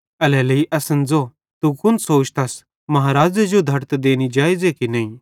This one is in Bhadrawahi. एल्हेरेलेइ असन ज़ो तू कुन सोचतस महाराज़े जो चुंगी देनी जेइज़े की नईं